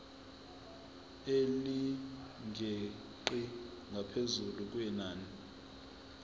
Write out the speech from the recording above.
elingeqi ngaphezu kwenani